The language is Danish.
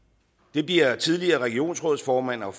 det bliver tidligere regionrådsformand og